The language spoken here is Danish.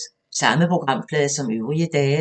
Samme programflade som øvrige dage